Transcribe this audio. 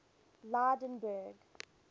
lydenburg